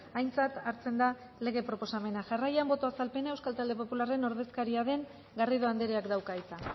aintzat hartzen da lege proposamena jarraian boto azalpena euskal talde popularren ordezkaria den garrido andreak dauka hitza